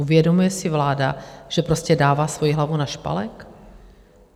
Uvědomuje si vláda, že prostě dává svoji hlavu na špalek?